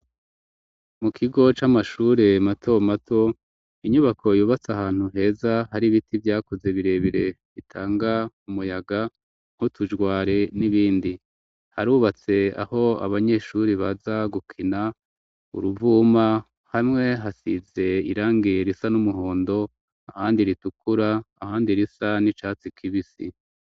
Mu kigo c'amashure mato mato inyubako yubatse ahantu heza hari ibiti byakuze birebire bitanga umuyaga nk'utujwari, n'ibindi harubatse aho abanyeshure baza gukina uruvuma hamwe hasize irangiye risa n'umuhondo ahandi ritukura ahandi risa n'icatsi kibisi.